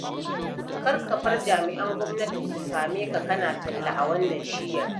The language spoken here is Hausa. Kar ka bar jami'an gwamnati su same ka kana talla a wannan shiyar